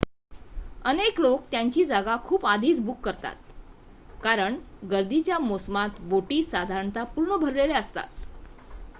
अनेक लोक त्यांची जागा खूप आधीच बुक करतात कारण गर्दीच्या मोसमात बोटी साधारणत: पूर्ण भारलेल्या असतात